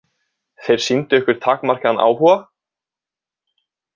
Þeir sýndu ykkur takmarkaðan áhuga?